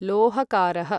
लोहकारः